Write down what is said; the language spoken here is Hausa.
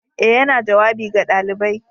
Ee, yana jawabi ga ɗalibai